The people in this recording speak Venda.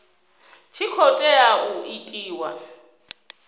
tshi khou tea u itiwa